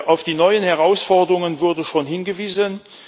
Auf die neuen Herausforderungen wurde schon hingewiesen.